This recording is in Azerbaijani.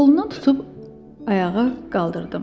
Qolundan tutub ayağa qaldırdım.